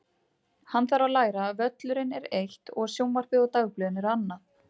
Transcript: Hann þarf að læra að völlurinn er eitt og sjónvarpið og dagblöðin eru annað.